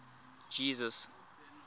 jesus